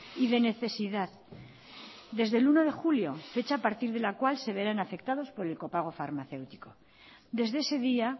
y de necesidad desde el uno de julio fecha a partir de la cual se verán afectados por el copago farmacéutico desde ese día